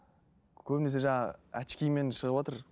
көбінесе жаңағы очкимен шығыватыр